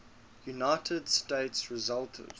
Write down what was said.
united states resulted